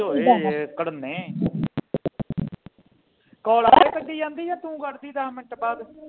call ਆਪੇ ਕਟੀ ਜਾਂਦੀ ਜਾ ਤੂੰ ਘਟਦੀ ਆ ਦਸ ਮਿੰਟ ਬਾਅਦ